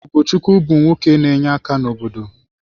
Ugochukwu bụ nwoke n'enye aka n’obodo.